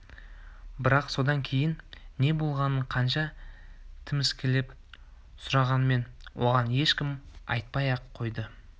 бірақ содан кейін не болғанын қанша тіміскілеп сұрағанмен оған ешкім айтпай-ақ қойды